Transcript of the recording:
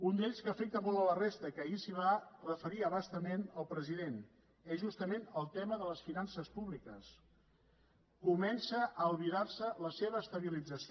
un d’ells que afecta molt la resta que ahir s’hi va referir a bastament el president és justament el tema de les finances púbiques comença a albirarse la seva estabilització